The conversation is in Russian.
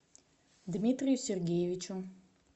дмитрию сергеевичу